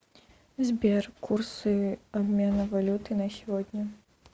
сбер курсы обмена валюты на сегодня